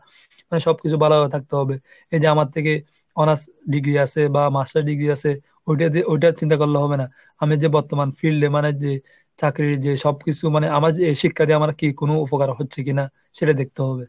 মানে সবকিছু ভালোভাবে থাকতে হবে এই যে আমার থেকে honors degree আছে বা masters degree আছে ওটা দিয়ে ওটার চিন্তা করলে হবে না। আমি যে বর্তমান field এ মানে যে চাকরি যে সবকিছু মানে যে এই শিক্ষা দিয়ে আমার কি কোন উপকার হচ্ছে কিনা সেটা দেখতে হবে।